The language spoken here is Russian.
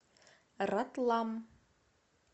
ратлам